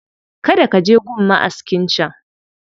Kada ka je gun ma'askin can